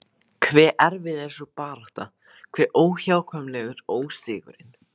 Hve erfið er sú barátta, hve óhjákvæmilegur ósigurinn.